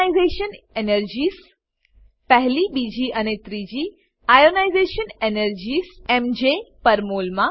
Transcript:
ionisation energies પહેલી બીજી અને ત્રીજી ionisation energies MJ per mole માં